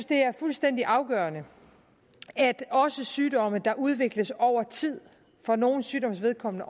det er fuldstændig afgørende at også sygdomme der udvikles over tid for nogle sygdommes vedkommende